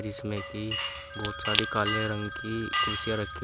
इसमें की बहुत सारी काले रंग की कुर्सीया रखी।